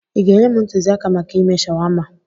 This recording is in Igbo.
Ị ga-enye m ntụzịaka maka ime shawama?